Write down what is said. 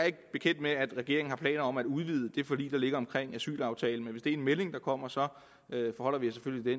ikke bekendt med at regeringen har planer om at udvide det forlig der ligger omkring asylaftalen er en melding der kommer så forholder vi os